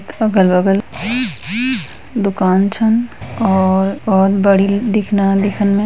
अगल बगल दुकान छन और बहुत बड़ी दिखना दिखन में --